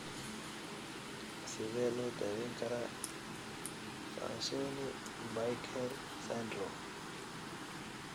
Sidee loo daweyn karaa Fanconi Bickel syndrome?